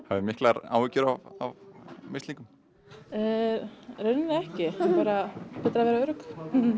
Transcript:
hafiði miklar áhyggjur af mislingum í rauninni ekki bara betra að vera örugg